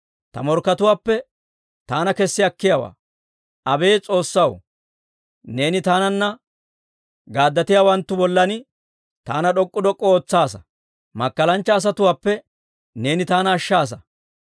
Ta morkkatuwaappe taana kessi akkiyaawaa. Abeet S'oossaw, neeni taananna gaaddatiyaawanttu bollan taana d'ok'k'u d'ok'k'u ootsaasa. Makkalanchcha asatuwaappe neeni taana ashshaasa.